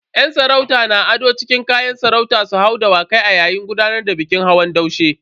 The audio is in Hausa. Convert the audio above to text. Yan sarauta na ado cikin kayan sarauta su hau Dawakai a yayin gudanar da bikin hawan daushe.